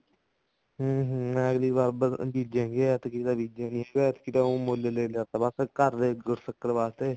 ਹਮ ਹਮ ਅਗਲੀ ਵਾਰ ਬੀਜੇੰਗੇ ਹੁਣ ਐਤਕੀ ਤਾਂ ਐਤਕੀ ਤਾਂ ਬੀਜਿਆ ਨੀ ਹੈਗਾ ਐਤਕੀ ਤਾਂ ਮੁੱਲ ਲੈ ਲਿਆ ਬ ਘਰ ਦੀ ਗੁੜ ਸ਼ੱਕਰ ਵਾਸਤੇ